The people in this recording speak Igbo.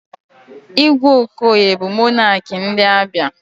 Igwe Okoye bụ monakị ndị Abịa.